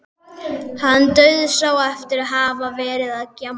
Hann dauðsá eftir að hafa verið að gjamma.